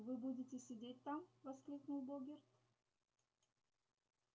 вы будете сидеть там воскликнул богерт